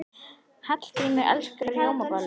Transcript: Hallgrímur elskar rjómabollur.